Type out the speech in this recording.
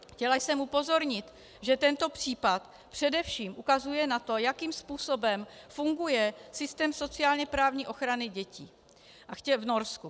Chtěla jsem upozornit, že tento případ především ukazuje na to, jakým způsobem funguje systém sociálně-právní ochrany dětí v Norsku.